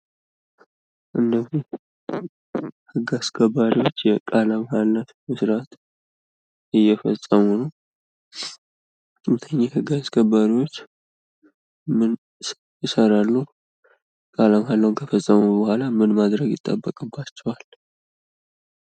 እነዚህ ህግ አስከባሪዎች የቃለ መሃላ ስነስርዓት እየፈፀሙ ነው። እነኚህ የህግ አስከባሪዎች ምን ይሰራሉ? ቃለ መሀላውን ከፈፀሙ በኋላ ምን ማድረግ ይጠበቅባቸዋል?